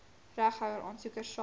regtehouer aansoekers sal